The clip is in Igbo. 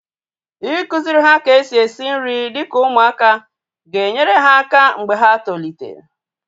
Ịkụziri ha ka-esi esi nri dịka ụmụaka ga enyere ha aka mgbe ha tolite